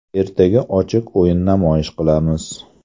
Ertaga ochiq o‘yin namoyish qilamiz.